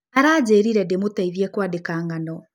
Aranjĩrire ndĩmũteithie kwandĩka ng'ano.